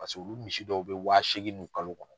Paseke o misi dɔw bɛ wa seegin dun kalo kɔnɔ.